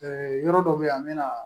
yɔrɔ dɔ bɛ yen an bɛ na